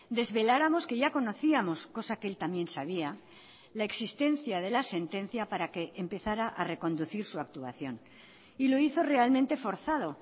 desveláramos que ya conocíamos cosa que él también sabía la existencia de la sentencia para que empezará a reconducir su actuación y lo hizo realmente forzado